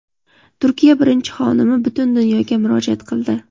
Turkiya birinchi xonimi butun dunyoga murojaat qildi.